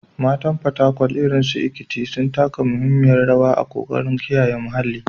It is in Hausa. Matan Fatakwal, irin su Ekaette, sun taka muhimmiyar rawa a ƙoƙarin kiyaye muhalli.